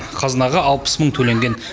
қазынаға алпыс мың төленген